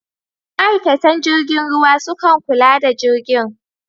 Ma'aikatan jirgin ruwa sukan kula da jirgin.